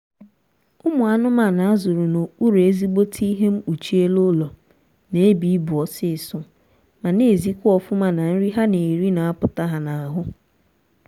ụmụ anụmanụ a zụrụ n'okpuru ezigbote ihe mpkuchi elu ụlọ na-ebu ibu ọsịịsọ ma na-ezikwa ọfụma na nri ha na-eri na-apụta ha n'ahụ